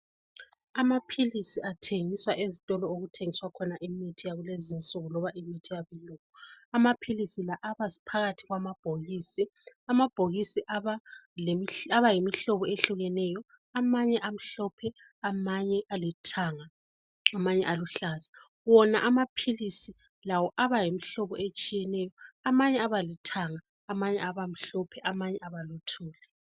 Amaphilisi athengiswa ezitolo okuthengiswa khona imithi yalezinsuku loba imithi yabelungu. Amaphilisi la abaphakathi kwamabhokisi, amabhokisi abayimhlobo eyehlukeneyo amanye amhlophe amnye abalithanga. Wona amaphilisi abayimhlobo etshiyeneyo amanye abalithanga, amanye abamhlophe amanye abaluthuli.